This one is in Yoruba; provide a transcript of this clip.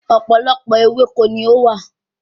Ọ̀pọ̀lọpọ̀ ewéko ni ó wà